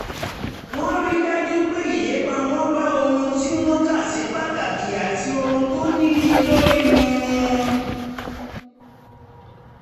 wọ́n rí dájú pé ìlépa wọn bá ohun tí wọ́n kà sí pàtàkì àti ohun tó níyelórí mu